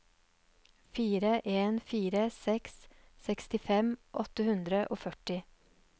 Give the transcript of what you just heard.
fire en fire seks sekstifem åtte hundre og førti